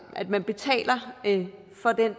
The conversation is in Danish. at man betaler for den